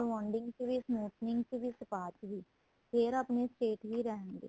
rebounding ਚ ਵੀ smoothing ਵਿੱਚ ਵੀ spay ਚ ਵੀ ਫ਼ੇਰ ਆਪਣੇਂ state ਵੀ ਰਹਿਣਗੇ